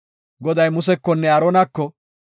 Goday Musekonne Aaronako,